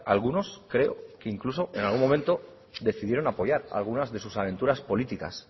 algunos creo que incluso en algún momento decidieron apoyar algunas de sus aventuras políticas